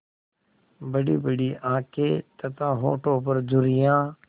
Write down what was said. बड़ीबड़ी आँखें तथा होठों पर झुर्रियाँ